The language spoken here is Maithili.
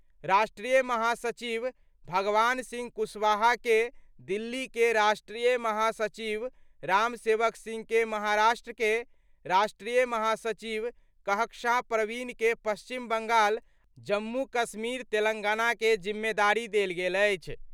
राष्ट्रीय महासचिव भगवान सिंह कुशवाहा के दिल्ली के, राष्ट्रीय महासचिव रामसेवक सिंह के महाराष्ट्र के, राष्ट्रीय महासचिव कहकशान परवीन के पश्चिम बंगाल आ जम्मू-कश्मीरक तेलंगाना के जिम्मेदारी देल गेल अछि।